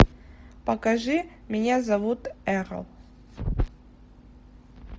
покажи меня зовут эрл